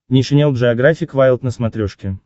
нейшенел джеографик вайлд на смотрешке